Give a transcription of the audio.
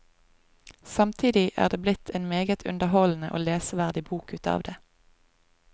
Samtidig er det blitt en meget underholdende og leseverdig bok utav det.